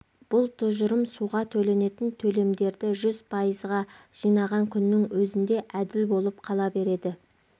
бұл тұжырым суға төленетін төлемдерді жүз пайызға жинаған күннің өзінде әділ болып қала береді